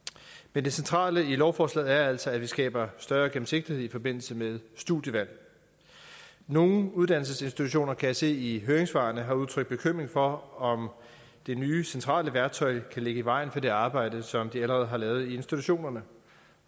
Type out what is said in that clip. men det centrale i lovforslaget er altså at vi skaber større gennemsigtighed i forbindelse med studievalg nogle uddannelsesinstitutioner kan jeg se i høringssvarene har udtrykt bekymring for om det nye centrale værktøj kan ligge i vejen for det arbejde som de allerede har lavet institutionerne